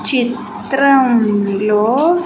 చిత్రం లో.